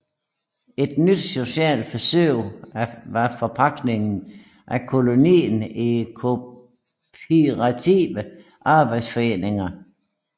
Et nyt socialt forsøg var forpagtningen af kolonier til kooperative arbejderforeninger